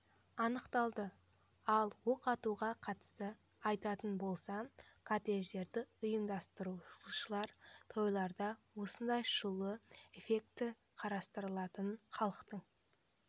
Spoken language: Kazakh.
анықталды ал оқ атуға қатысты айтатын болсам кортеждерді ұйымдастырушылар тойларында осындай шулы эффект қарастырылатын халықтың